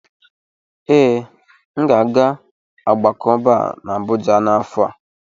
Ee, m ga-aga ogbako Bar na Abuja n'afọ a.